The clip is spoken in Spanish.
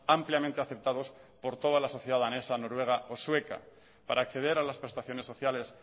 ampliamente aceptados por toda la sociedad danesa noruega o sueca para acceder a las prestaciones sociales